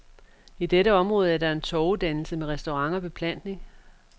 I dette område er der en torvedannelse med restaurant og beplantning.